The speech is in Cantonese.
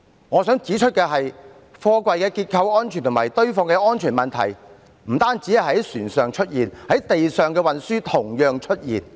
我想指出的是，貨櫃結構安全及堆放的安全問題不單會在船上出現，陸上運輸亦會同樣出現。